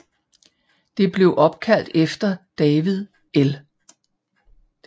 Det blev opkaldt efter David L